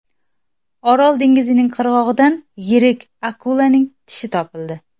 Orol dengizining qirg‘og‘idan yirik akulaning tishi topildi.